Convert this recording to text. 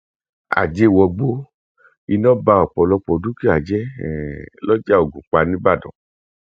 àjẹ wọgbó iná ba ọpọlọpọ dúkìá jẹ um lọjà ògúnpá ńíbàdàn